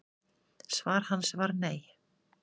Svar hans var nei.